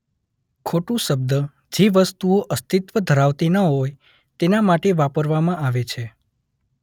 ખોટું શબ્દ જે વસ્તુઓ અસ્તિત્વ ધરાવતી ન હોય તેના માટે વાપરવામાં આવે છે